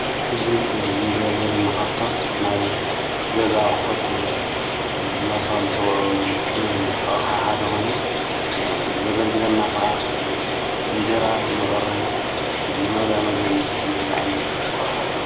እዙ እንድዘለናኻፍቶም ናይ ገዛ ቕሑት ናታዋል ጽውዑ ንኣ ሓደኾይኑ ዘገልግለና ኸዓ እንጀራ ንመቕረዊ ንመብልዕ መግዩ ንጥቆምሉ ዒይነት ኣቕሓዩ።